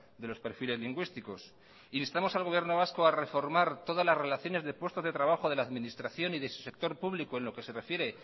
de los perfiles lingüísticos e instamos al gobierno vasco a reformar todas las relaciones de puestos de trabajo de la administración y de su sector público en lo que se refiere